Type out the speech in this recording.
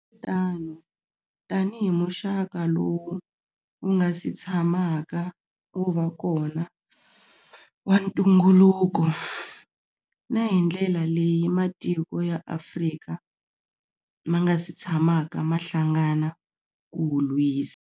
Tano, tanihi muxaka lowu wu nga si tshamaka wu va kona wa ntunguluko, na hi ndlela leyi matiko ya Afrika ma nga si tshamaka ma hlangana ku wu lwisa.